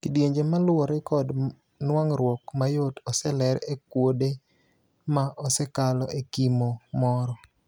Kidienje maluore kod nuang'ruok mayot oseler e kuode ma osekalo e kimo moro.